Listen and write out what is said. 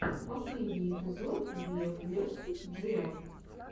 последний эпизод би эф версус джи эф